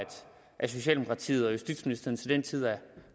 socialdemokratiet og justitsministeren til den tid er